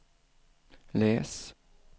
läs